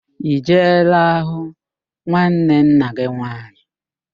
I jeela hụ nwanne nna gị nwaanyị?